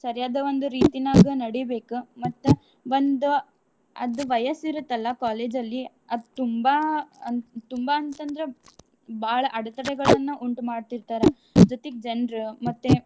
ಸರಿಯಾದ ಒಂದ್ ರೀತಿನಾಗ ನಡೀಬೇಕ ಮತ್ತ ಒಂದ ಅದು ವಯಸ್ಸಿರುತ್ತಲ್ಲ collage ಅಲ್ಲಿ ಅದ್ ತುಂಬಾ ಆ ತುಂಬಾ ಅಂತಂದ್ರ ಬಾಳ್ ಅಡ್ತಡೆಗಳನ್ನ ಉಂಟುಮಾಡ್ತೀರ್ತರ ಜೊತೀಗ್ ಜನ್ರ್ ಮತ್ತೆ.